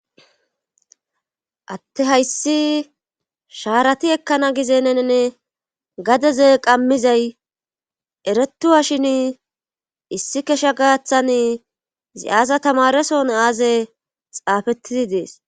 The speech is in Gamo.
Atte hayssi sharati ekkana gizenenne gadeze qammizay eretuhashin issi kesha gaaththan zi7aasa tamareson aaze xaafettidi dees.